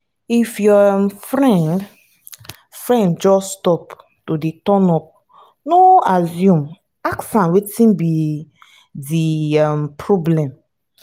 if your um friend friend just stop to dey turn up no assume ask am wetin be di um problem